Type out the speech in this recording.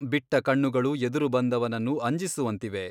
ಬಿಟ್ಟ ಕಣ್ಣುಗಳು ಎದುರು ಬಂದವನನ್ನು ಅಂಜಿಸುವಂತಿವೆ.